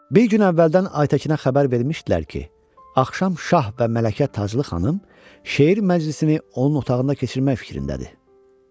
Bir gün əvvəldən Aytəkinə xəbər vermişdilər ki, axşam şah və Mələkə Taclı xanım şeir məclisini onun otağında keçirmək fikrindədir.